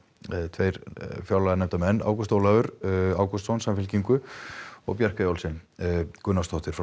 tveir fjárlaganefndarmenn Ágúst Ólafur Ágústsson Samfylkingu og Bjarkey Olsen Gunnarsdóttir